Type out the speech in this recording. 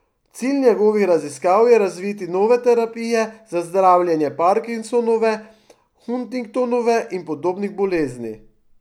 Cilj njegovih raziskav je razviti nove terapije za zdravljenje Parkinsonove, Huntingtonove in podobnih bolezni.